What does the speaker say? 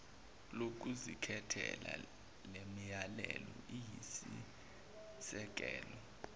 lokuzikhethela lemilayelo iyisisekelo